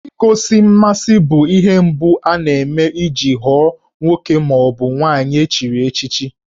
Igosi mmasị bụ ihe mbụ ana-eme iji ghọọ nwoke ma ọ bụ nwaanyị echiri echichi